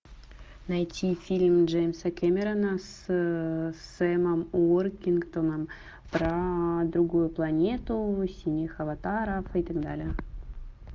найти фильм джеймса кэмерона с сэмом уортингтоном про другую планету синих аватаров и так далее